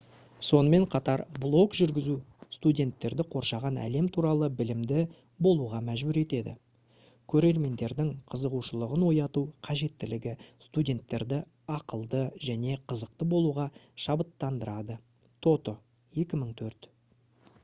сонымен қатар блог жүргізу «студенттерді қоршаған әлем туралы білімді болуға мәжбүр етеді». көрермендердің қызығушылығын ояту қажеттілігі студенттерді ақылды және қызықты болуға шабыттандырады тото 2004